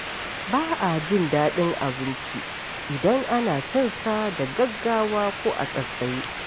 Ba a jin daɗin abinci idan ana cin sa da gaggawa ko a tsaitsaye.